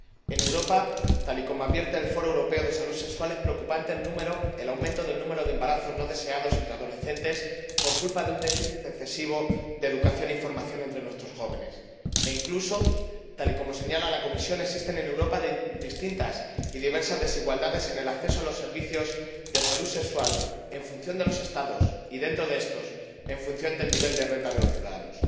En Europa, tal y como advierte el Foro Europeo de Salud Sexual, es preocupante el aumento del número de embarazos no deseados entre adolescentes por culpa de un déficit excesivo de educación e información entre nuestros jóvenes, e incluso tal y como señala la Comisión— existen en Europa distintas y diversas desigualdades en el acceso a los servicios de salud sexual en función de los Estados y, dentro de éstos, en función del nivel de renta de los ciudadanos.